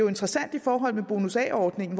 interessant i forhold til bonus a ordningen